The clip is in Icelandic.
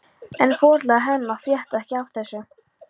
En foreldrar Hemma frétta ekki af þessu.